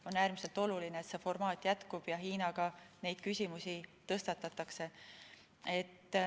On äärmiselt oluline, et see formaat jätkub ja Hiinaga neid küsimusi tõstatatakse.